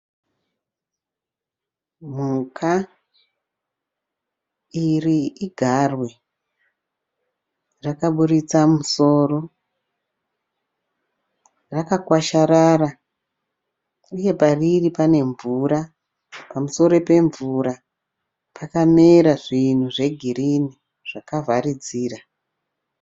Mhuka ,iri igarwe, rakaburitsa musoro, rakakwasharara uye pariri panemvura. Pamusoro pemvura pakamera zvinhu zvegirini zvakavharidzira.